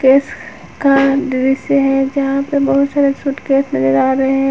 इसका दृश्य है जहां पे बहुत सारे सूटकेस नजर आ हैं।